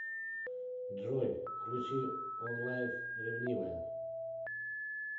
джой включи онлайф ревнивая